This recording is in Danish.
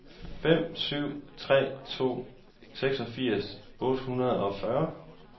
fem syv tre to seksogfirs otte hundrede og fyrre